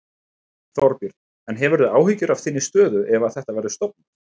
Þorbjörn: En hefurðu áhyggjur af þinni stöðu ef að þetta verður stofnað?